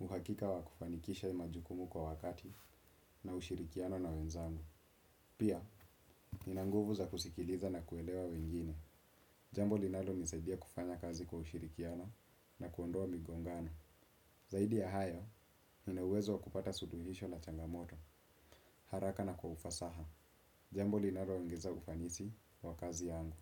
uhakika wa kufanikisha majukumu kwa wakati na ushirikiano na wenzangu. Pia, nina nguvu za kusikiliza na kuelewa wengine. Jambo linalonisaidia kufanya kazi kwa ushirikiano na kuondoa migongano. Zaidi ya hayo, ninauwezo wa kupata suluhisho na changamoto, haraka na kwa ufasaha. Jambo linaloongeza ufanisi kwa kazi yangu.